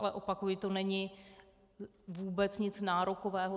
Ale opakuji, to není vůbec nic nárokového.